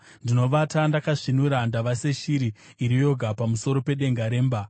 Ndinovata ndakasvinura, ndava seshiri iri yoga pamusoro pedenga remba.